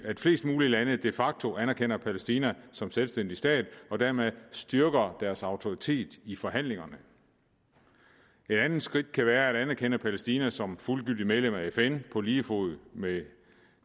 at flest mulige lande de facto anerkender palæstina som selvstændig stat og dermed styrker deres autoritet i forhandlingerne et andet skridt kan være at anerkende palæstina som fuldgyldigt medlem af fn på lige fod med